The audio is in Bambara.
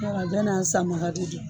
Yɔr'a bɛɛ n'a san baga de don